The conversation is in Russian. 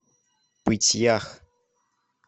пыть ях